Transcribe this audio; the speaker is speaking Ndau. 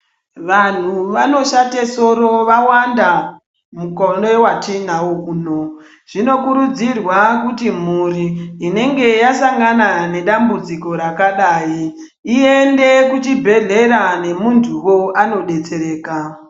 Vanhu vanoshate soro vawanda mukore watinawo uno. Zvinokurudzirwa kuti mhuri inenge yasangana nedambudziko rakadai einde kuchibhedhlera nemuntuwo anodetsereka.